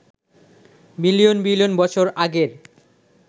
billion billion বছর আগের